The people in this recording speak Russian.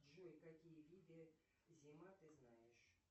джой какие виды зима ты знаешь